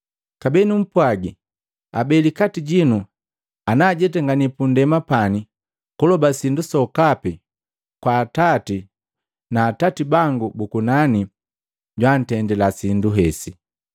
Kabee numpwagi, abeli kati jinu ana ajetangani pundema pani kuloba sindu sokapi kwaka Atati na Atati bangu bu kunani jwantendila sindu hesi.